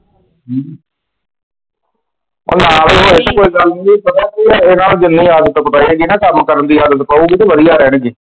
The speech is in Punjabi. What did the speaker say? ਹਮ ਉਹ ਨਾ ਵੀ ਹੋਏ ਤੇ ਕੋਈ ਗੱਲ ਨਹੀਂ ਜੇ ਪਤਾ ਇਹ ਗੱਲ ਜਿੰਨੀ ਆਦਤ ਪਏ ਨੀ ਕੱਮ ਕਰਨ ਦੀ ਆਦਤ ਪਾਊਗੀ ਤੇ ਵਧੀਆ ਆ।